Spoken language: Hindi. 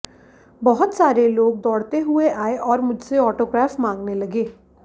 बहुत सारे लोग दौड़ते हुए आए और मुझसे ऑटोग्राफ मांगने लगे